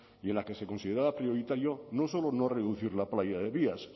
y en la que se consideraba prioritario no solo no reducir la playa de vías